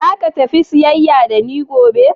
Zaka tafi siyayya da ni gobe?